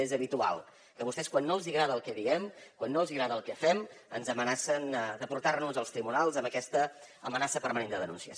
és habitual que vostès quan no els agrada el que diem quan no els agrada el que fem ens amenacen de portar nos als tribunals amb aquesta amenaça permanent de denúncies